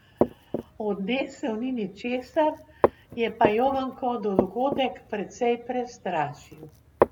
Odnesel ni ničesar, je pa Jovanko dogodek precej prestrašil.